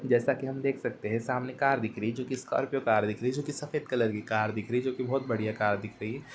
जैसा कि हम देख सकते हैं। सामने कार दिख रही है। जो कि स्कॉर्पियो कार दिख रही है। जो कि सफ़ेद कलर की कार दिख रही है। जो कि बहुत बढ़िया कार दिख रही है।